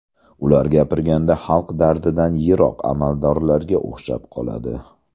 Ular gapirganda xalq dardidan yiroq amaldorlarga o‘xshab qoladi.